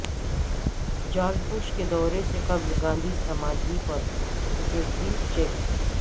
George Bush کے دورے سے قبل گاندھی سمادھی پر سکیورٹی چیک